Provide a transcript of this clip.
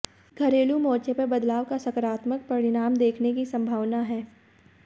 घरेलू मोर्चे पर बदलाव का साकारात्मक परिणाम दिखने की संभावना है